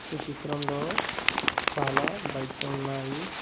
ఈ చిత్రంలో చాలా బైక్స్ ఉన్నాయి.